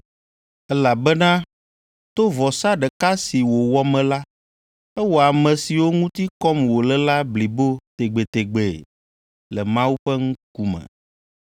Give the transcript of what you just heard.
Elabena to vɔsa ɖeka si wòwɔ me la, ewɔ ame siwo ŋuti kɔm wòle la blibo tegbetegbe le Mawu ƒe ŋkume.